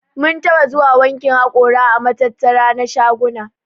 Mun taɓa zuwa wankin haƙora a matattara na shaguna.